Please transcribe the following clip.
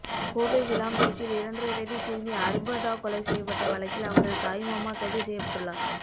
கோவை விளாங்குறிச்சியில் இரண்டரை வயது சிறுமி அரும்பதா கொலை செய்யப்பட்ட வழக்கில் அவரது தாய் மாமா கைது செய்யப்பட்டுள்ளார்